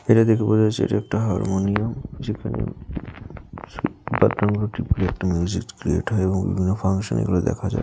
এটা দেখে বোঝা যাচ্ছে এটা একটা হারমোনিয়াম যেখানে মিউজিক ক্রিয়েট হয় এবং লা ফাংশান -এ এগুলো দেখা যায়।